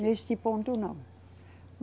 Neste ponto, não.